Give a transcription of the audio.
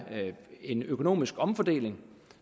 en økonomisk omfordeling